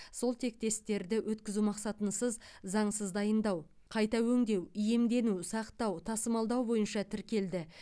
сол тектестерді өткізу мақсатынсыз заңсыз дайындау қайта өңдеу иемдену сақтау тасымалдау бойынша тіркелді